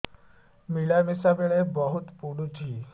ମିଳାମିଶା ବେଳେ ବହୁତ ପୁଡୁଚି